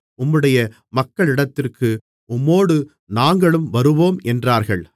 உம்முடைய மக்களிடத்திற்கு உம்மோடு நாங்களும் வருவோம் என்றார்கள்